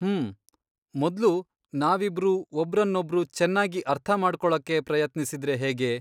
ಮ್ಮ್.. ಮೊದ್ಲು ನಾವಿಬ್ರೂ ಒಬ್ರನ್ನೊಬ್ರು ಚೆನ್ನಾಗಿ ಅರ್ಥ ಮಾಡ್ಕೊಳೋಕೆ ಪ್ರಯತ್ನಿಸಿದ್ರೆ ಹೇಗೆ?